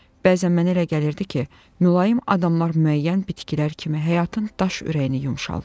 Bəzən mənə elə gəlirdi ki, mülayim adamlar müəyyən bitkilər kimi həyatın daş ürəyini yumşaldır.